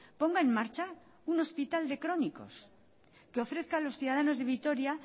ponga en marcha un hospital de crónicos que ofrezca a los ciudadanos de vitoria